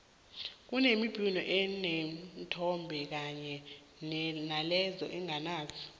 kunembhino eneenthombe kanye naleyo enganazo